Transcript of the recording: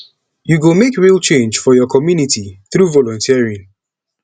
yu go mek real change for yur community thru volunteering